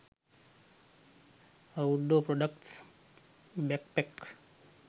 outdoor products backpack